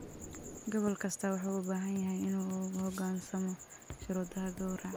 Gobol kastaa wuxuu u baahan yahay inuu u hoggaansamo shuruudaha gawraca.